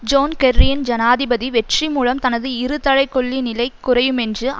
zone கெர்ரியின் ஜனாதிபதி வெற்றிமூலம் தனது இருதலைக்கொள்ளி நிலை குறையுமென்று